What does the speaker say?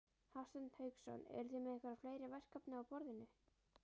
Hafsteinn Hauksson: Eruð þið með einhver fleiri verkefni á borðinu?